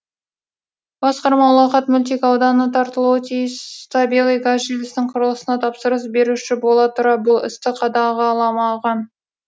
басқарма ұлағат мөлтекауданына тартылуы тиіс табиғи газ желісінің құрылысына тапсырыс беруші бола тұра бұл істі қадағаламаған